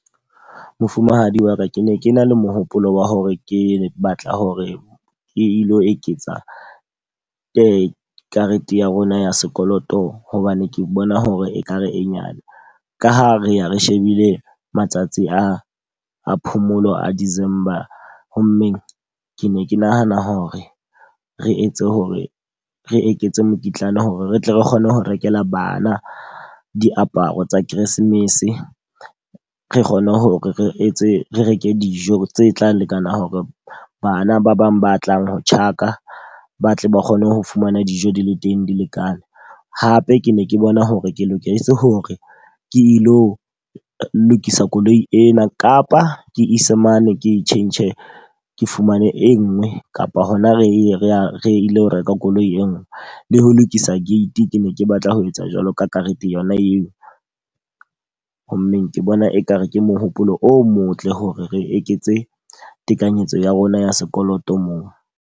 Mofumahadi wa ka, ke ne ke na le mohopolo wa hore ke batla hore ke ilo eketsa ke karete ya rona ya sekoloto. Hobane ke bona hore ekare e nyane. Ka ha re ya re shebile matsatsi a a phomolo a December. Ho mmeng ke ne ke nahana hore re etse hore re eketse mokitlana hore re tle re kgone ho rekela bana diaparo tsa Keresemese. Re kgone hore re etse re reke dijo tse tla lekana hore bana ba bang ba tlang ho tjhaka ba tle ba kgone ho fumana dijo di le teng di lekane. Hape ke ne ke bona hore ke loketse hore ke lo lokisa koloi ena kapa ke ise mane ke tjhentjhe ke fumane e nngwe kapa hona re ye re a re ile ho reka koloi e nngwe. Le ho lokisa gate ke ne ke batla ho etsa jwalo ka karete yona eo. Ho mmeng ke bona e ka re ke mohopolo o motle hore re eketse tekanyetso ya rona ya sekoloto moo.